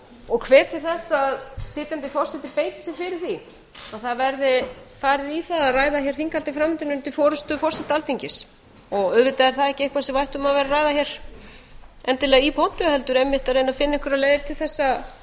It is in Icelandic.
og hvet til þess að sitjandi forseti beiti sér fyrir því að það verði farið í að ræða hér þinghaldið fram undan undir forustu forseta alþingis auðvitað er það ekki eitthvað sem við ættum að vera að ræða hér endilega í pontu heldur einmitt að reyna að finna einhverjar leiðir til þess að